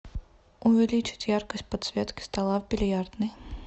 увеличить яркость подсветки стола в бильярдной